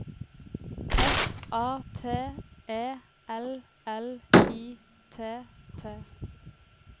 S A T E L L I T T